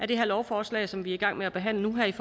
det her lovforslag som vi er i gang med at behandle nu her